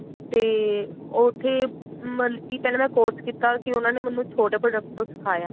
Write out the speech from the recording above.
ਤੇ ਉੱਥੇ ਮਤਲਬ ਕੀ ਪਿਹਲਾਂ ਮੈਂ course ਕੀਤਾ ਕੀ ਉਹਨਾ ਨੇ ਮੈਨੂ ਛੋਟੇ product ਤੋਂ ਸਿਖਾਇਆ